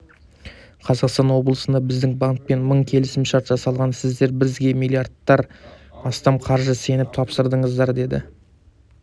қазақстан облысында біздің банкпен мың келісімшарт жасалған сіздер бізге миллиардтан астам қаражатты сеніп тапсырдыңыздар деді